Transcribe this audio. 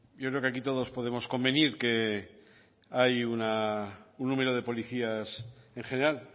yo creo que aquí todos podemos convenir que hay un número de policías en general